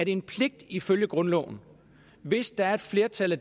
en pligt ifølge grundloven hvis der er et flertal af